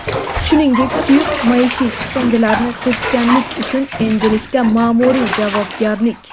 shuningdek suyuq maishiy chiqindilarni to‘kkanlik uchun endilikda maʼmuriy javobgarlik:.